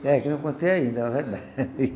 É, que eu não contei ainda, verdade.